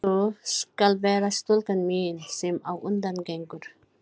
Sú skal vera stúlkan mín, sem á undan gengur.